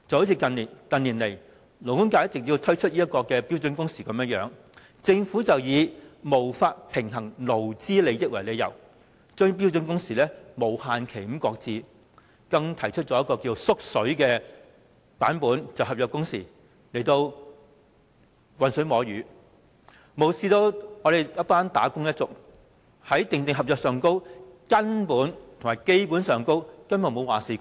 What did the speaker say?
以勞工界近年提出的標準工時為例，政府以無法平衡勞資利益為理由，將標準工時無限期擱置，更提出一個"縮水版"的"合約工時"，魚目混珠，無視"打工仔女"在訂定合約時，根本沒有話事權。